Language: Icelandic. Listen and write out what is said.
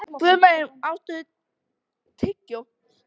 Guðmey, áttu tyggjó?